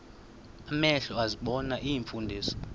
amehlo ezibona iimfundiso